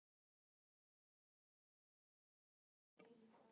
Og ég varð eftir ein.